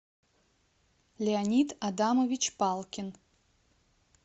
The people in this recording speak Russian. леонид адамович палкин